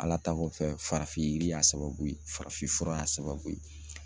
Ala ta kɔfɛ farafin yiri y'a sababu ye farafin fura y'a sababu ye